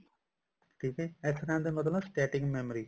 ਠੀਕ ਹੈ SRAM ਦਾ ਮਤਲਬ static memory